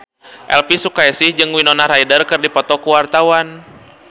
Elvy Sukaesih jeung Winona Ryder keur dipoto ku wartawan